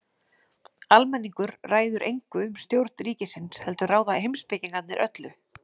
Almenningur ræður engu um stjórn ríkisins heldur ráða heimspekingarnir öllu.